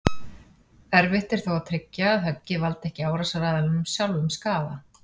Erfitt er þó að tryggja að höggið valdi ekki árásaraðilanum sjálfum skaða.